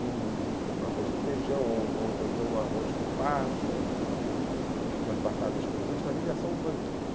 Um arroz com feijão, ou então um arroz com passas, umas batatas cozidas, para mim já são um banquete.